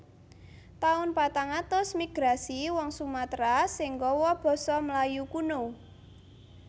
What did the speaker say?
Taun patang atus Migrasi wong Sumatera sing gawa basa Melayu kuno